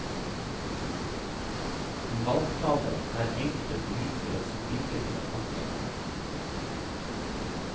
I valgtaler er enkelte politikere så flinke til å snakke.